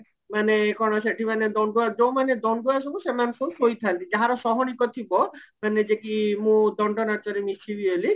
ମାନେ କଣ ସେଠି ମାନେ ଦଣ୍ଡୁଆ ଯୋଉମାନେ ଦଣ୍ଡୁଆ ସବୁ ସେମାନେ ସବୁ ଶୋଇଥାନ୍ତି ଯାହାର ସହଣିକ ଥିବା ମାନେ ଯେକି ମୁଁ ଦଣ୍ଡ ନାଚରେ ମିଶିବି ବୋଲି